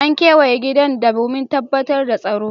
An kewaye gidan domin tabbatar da tsaro.